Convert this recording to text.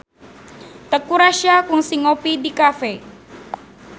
Teuku Rassya kungsi ngopi di cafe